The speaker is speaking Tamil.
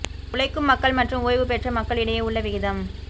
உழைக்கும் மக்கள் மற்றும் ஓய்வு பெற்ற மக்கள் இடையே உள்ள விகிதம்